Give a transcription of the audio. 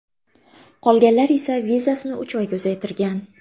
Qolganlar esa vizasini uch oyga uzaytirgan.